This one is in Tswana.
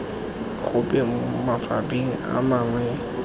gope mo mafapheng a mangwe